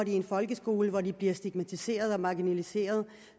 i en folkeskole hvor de bliver stigmatiseret og marginaliseret